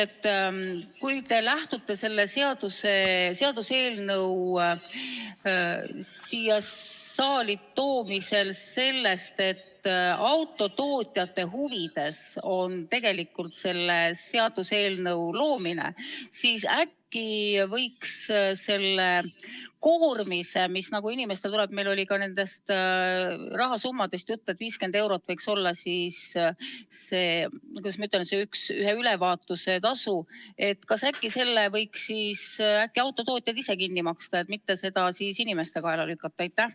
Kui te lähtute selle seaduseelnõu siia saali toomisel sellest, et autotootjate huvides on tegelikult selle seadusmuudatuse tegemine, siis äkki võiks selle koormise, mis inimestele tekib – meil oli ka nendest rahasummadest juttu, et 50 eurot võiks olla siis see, kuidas ma ütlen, et see ühe ülevaatuse tasu – kas selle võiks siis äkki autotootjad ise kinni maksta ja mitte seda inimeste kaela lükata?